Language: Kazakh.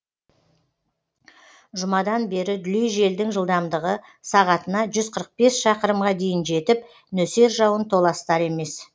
жұмадан бері дүлей желдің жылдамдығы сағатына жүз қырық бес шақырымға дейін жетіп нөсер жауын толастар емес